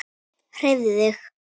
Hreyfðu þig.